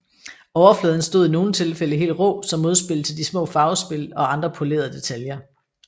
Overfladen stod i nogle tilfælde helt rå som modspil til de små farvespil og andre polerede detaljer